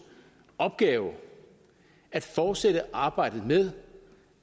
opgave at fortsætte arbejdet med